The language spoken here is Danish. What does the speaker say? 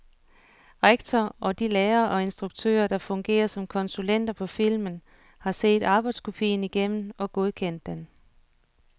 Rektor og de lærere og instruktører, der fungerer som konsulenter på filmen, har set arbejdskopien igennem og godkendt den.